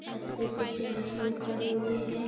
छत पे कुछ जेंट्स लोग खड़े हुए है।